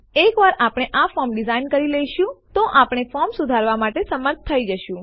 એકવાર આપણે આ ફોર્મ ડીઝાઇન કરી લઈશું તો આપણે ફોર્મ સુધારવાં માટે સમર્થ થઇ જશું